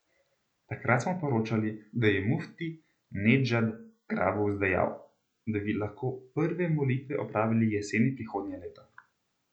Takrat smo poročali, da je mufti Nedžad Grabus dejal, da bi lahko prve molitve opravili jeseni prihodnje leto.